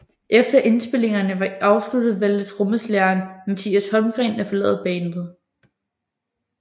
Efter indspilningerne var afsluttet valgte trommeslageren Mattias Holmgren at forlade bandet